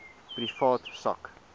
privaat sak